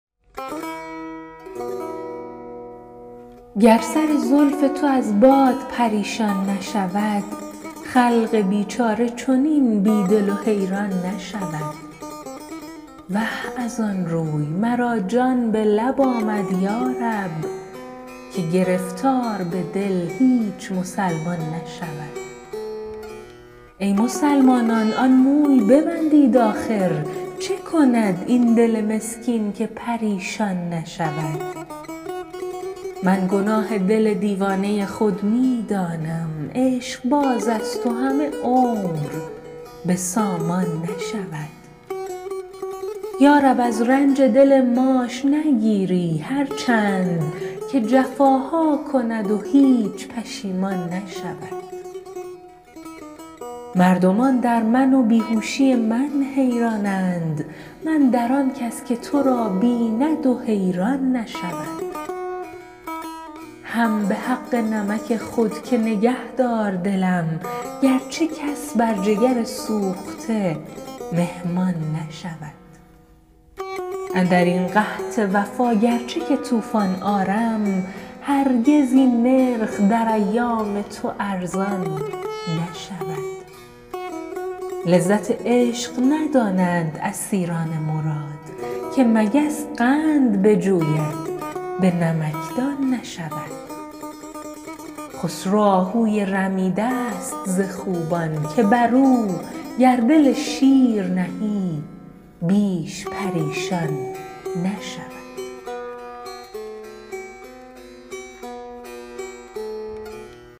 گر سر زلف تو از باد پریشان نشود خلق بیچاره چنین بیدل و حیران نشود وه ازان روی مرا جان به لب آمدیارب که گرفتار به دل هیچ مسلمانان نشود ای مسلمانان آن موی ببندید آخر چه کند این دل مسکین که پریشان نشود من گناه دل دیوانه خود می دانم عشقبازست و همه عمر به سامان نشود یارب از رنج دل ماش نگیری هر چند که جفاها کند و هیچ پشیمان نشود مردمان در من و بیهوشی من حیرانند من در آن کس که ترا بیند و حیران نشود هم به حق نمک خود که نگهدار دلم گر چه کس بر جگر سوخته مهمان نشود اندرین قحط وفا گر چه که طوفان آرم هرگز این نرخ در ایام تو ارزان نشود لذت عشق ندانند اسیران مراد که مگس قند بجوید به نمکدان نشود خسرو آهوی رمیده ست ز خوبان که برو گر دل شیر نهی بیش پریشان نشود